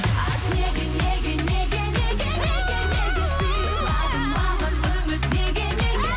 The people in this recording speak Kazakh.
айтшы неге неге неге неге неге неге сыйладың маған үміт неге неге